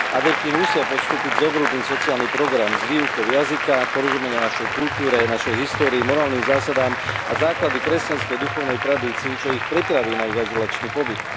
Adepti musia podstúpiť zovrubný sociálny program s výukou jazyka, porozumenia našej kultúre, histórii, morálnym zásadám a základom kresťanskej duchovnej tradícii, čo ich pripraví na ich azylačný pobyt.